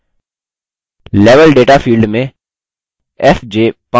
level data field में fj पाँच बार प्रविष्ट करें